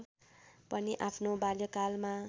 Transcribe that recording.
पनि आफ्नो बाल्यकालमा